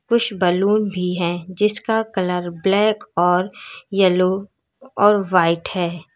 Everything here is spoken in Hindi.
कुछ बलून भी है जिसका कलर ब्लैक और यलो और व्हाइट है।